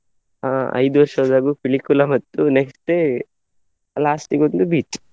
ಅಹ್ ಐದು ವರ್ಷದಲ್ಲೂ ಪಿಲಿಕುಳ ಮತ್ತು next day last ಗೆ ಒಂದು beach .